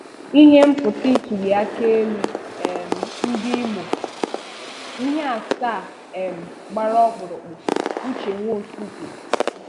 ihe mputa ituliaka elu um ndi imo: Ihe asaa um gbara ọkpụrụkpụ Uche Nwosu kwuru